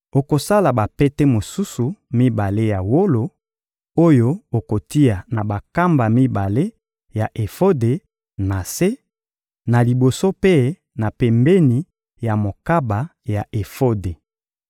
Okosala bapete mosusu mibale ya wolo oyo okotia na bankamba mibale ya efode, na se, na liboso mpe na pembeni ya mokaba ya efode.